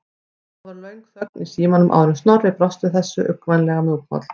Það varð löng þögn í símanum áður en Snorri brást við þessu, uggvænlega mjúkmáll.